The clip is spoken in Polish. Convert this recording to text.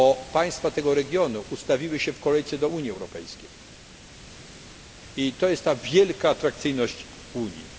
Państwa tego regionu ustawiły się w kolejce do Unii Europejskiej i stanowi to wielką atrakcyjność Unii.